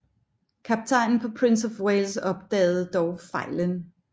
Kaptajnen på Prince of Wales opdagede dog fejlen